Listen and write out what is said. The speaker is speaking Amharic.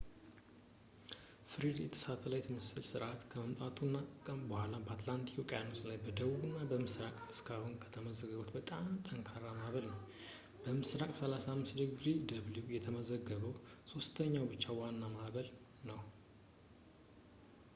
ፍሬድ የሳተላይት የምስል ስርአት ከመምጣቱ በኋላ በአትላንቲክ ውቅያኖስ ላይ በደቡብ እና ምስራቅ እስካሁን ከተመዘገበው በጣም ጠንካራው ማዕበል ነው፣ እና በምስራቅ 35 °w የተመዘገበው ሶስተኛው ብቻ ዋና ማዕበል ነው